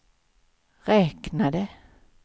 räknade